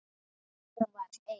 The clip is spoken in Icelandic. En hún var ein.